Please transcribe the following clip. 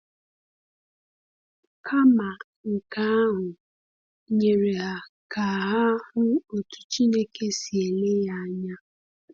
Kama nke ahụ, nyere ha ka ha hụ otu Chineke si ele ya anya.